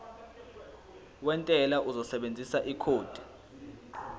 wentela uzosebenzisa ikhodi